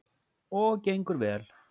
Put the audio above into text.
Og gengur vel.